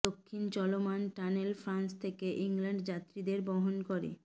দক্ষিণ চলমান tunnel France থেকে ইংল্যান্ড যাত্রীদের বহন করে